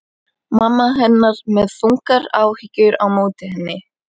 Mamma hennar með þungar áhyggjur á móti henni.